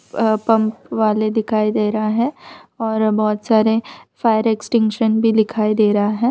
अ pump वाले दिखाई दे रहा है और बहुत सारे फायर एक्सटिंगशन भी दिखाई दे रहा है।